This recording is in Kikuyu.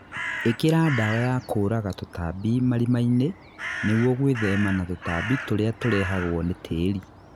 Īkĩra ndawa ya kũraga tũtambi marima-inĩ nĩguo gwĩthema na tũtambi tũrĩa tũrehagwo nĩ tĩri